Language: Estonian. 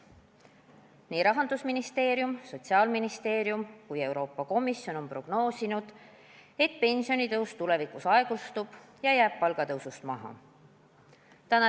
Nii Rahandusministeerium, Sotsiaalministeerium kui ka Euroopa Komisjon on prognoosinud, et pensionitõus tulevikus aeglustub ja jääb palgatõusust maha.